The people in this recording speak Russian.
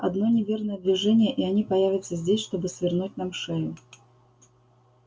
одно неверное движение и они появятся здесь чтобы свернуть нам шею